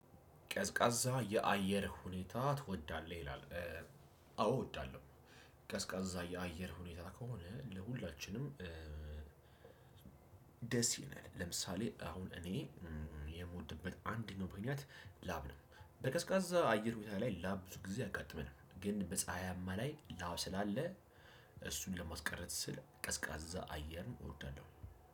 ቀዝቃዛ የአየር ሁኔታ ትወዳለህ ይላል? አዎ እወዳለሁ። ቀዝቃዛ የአየር ሁኔታ ከሆነ ለሁላችንም ደስ ይለናል። ለምሳሌ አሁን እኔ የምወድበት አንደኛው ምክንያት ላብ ነው በቀዝቃዛ አየር ሁኔታ ላይ ላብ ብዙ ጊዜ አያጋጥመንም። ግን በፀሀያማ ላይ ላብ ስላለ እሱን ለማስቀረት ስል ቀዝቃዛ አየር እወዳለሁ።